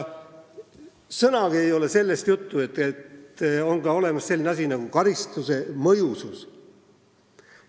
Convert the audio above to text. Sõnagi ei ole sellest, et on olemas ka selline asi nagu karistuse mõjusus.